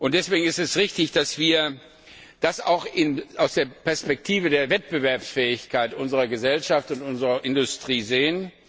Deswegen ist es richtig, dass wir das auch aus der Perspektive der Wettbewerbsfähigkeit unserer Gesellschaft und unserer Industrie sehen.